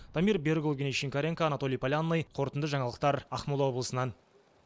дамир берікұлы евгений шинкаренко анатолий полянный қорытынды жаңалықтар ақмола облысынан